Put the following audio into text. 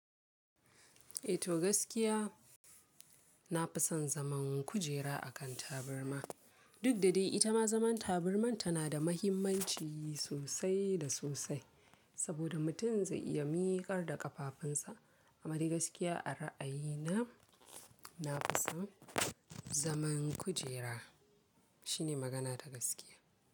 Eh to gaskiya, na fi son zaman kujera a kan taburma. Duk da dai ita ma zaman taburma tana da muhimmanci sosai da sosai saboda mutum zai iya miƙar da ƙafafunsa. Amma da gaskiya a ra'ayina, na fi son zaman kujera. Shine magana ta gaskiya.